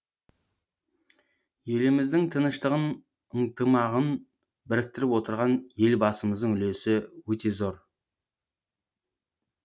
еліміздің тыныштығын ыңтымағын біріктіріп отырған елбасымыздың үлесі өте зор